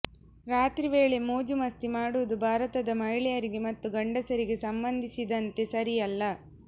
ರಾತ್ರಿವೇಳೆ ಮೋಜು ಮಸ್ತಿ ಮಾಡುವುದು ಭಾರತದ ಮಹಿಳೆಯರಿಗೆ ಮತ್ತು ಗಂಡಸರಿಗೆ ಸಂಬಂಧಿಸಿದಂತೆ ಸರಿಯಲ್ಲ